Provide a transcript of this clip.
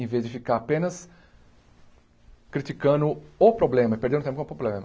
Em vez de ficar apenas criticando o problema, e perdendo tempo com o problema.